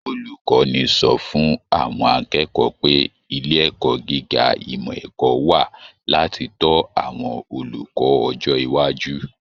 Olukọni sọ fún àwọn akẹ́kọ̀ọ́ pé ilé ẹ̀kọ́ gíga ìmọ ẹ̀kọ́ wà láti tọ àwọn olùkọ́ ọjọ iwájú.